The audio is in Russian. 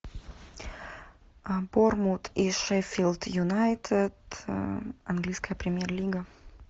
борнмут и шеффилд юнайтед английская премьер лига